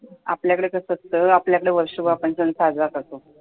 आपल्याकडे कसं असतं, वर्षभर आपण सण साजरा करतो